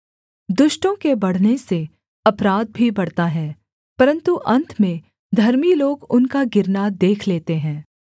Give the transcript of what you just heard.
दुष्टों के बढ़ने से अपराध भी बढ़ता है परन्तु अन्त में धर्मी लोग उनका गिरना देख लेते हैं